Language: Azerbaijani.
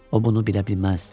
O bunu bilə bilməzdi.